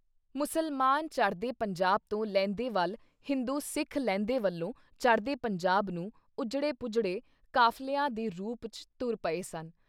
ਮੁਸਲਮਾਨ ਚੜ੍ਹਦੇ ਪੰਜਾਬ ਤੋਂ ਲਹਿੰਦੇ ਵੱਲ ਹਿੰਦੂ ਸਿੱਖ ਲਹਿੰਦੇ ਵੱਲੋਂ ਚੜ੍ਹਦੇ ਪੰਜਾਬ ਨੂੰ ਉੱਜੜੇ-ਪੁੱਜੜੇ ਕਾਫ਼ਲਿਆਂ ਦੇ ਰੂਪ 'ਚ ਤੁਰ ਪਏ ਸਨ।